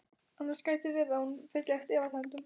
Annars gæti verið að hún fylltist efasemdum.